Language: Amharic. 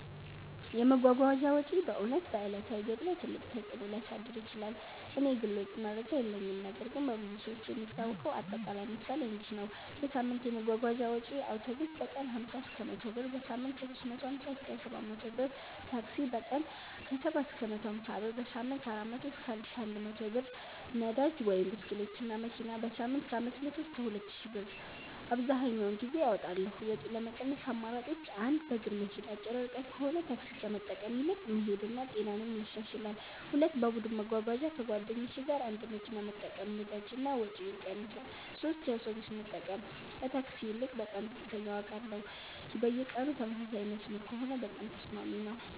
የመጓጓዣ ወጪ በእውነት በዕለታዊ ገቢ ላይ ትልቅ ተፅእኖ ሊያሳድር ይችላል። እኔ የግል ወጪ መረጃ የለኝም ነገር ግን በብዙ ሰዎች የሚታወቀው አጠቃላይ ምሳሌ እንዲህ ነው፦ የሳምንት የመጓጓዣ ወጪዬ አውቶቡስ: በቀን 50–100 ብር → በሳምንት 350–700 ብር ታክሲ: በቀን 70–150 ብር → በሳምንት 400–1100+ ብር ነዳጅ (ብስክሌት/መኪና): በሳምንት 500–2000+ ብር አብዘሀኛውን ጊዜ አወጣለሁ ወጪ ለመቀነስ አማራጮች 1. በእግር መሄድ አጭር ርቀት ከሆነ ታክሲ ከመጠቀም ይልቅ መሄድ ጤናንም ያሻሽላል 2. በቡድን መጓጓዣ ከጓደኞች ጋር አንድ መኪና መጠቀም ነዳጅ እና ወጪ ይቀንሳል 3 የአውቶቡስ መጠቀም ከታክሲ ይልቅ በጣም ዝቅተኛ ዋጋ አለው በየቀኑ ተመሳሳይ መስመር ከሆነ በጣም ተስማሚ ነው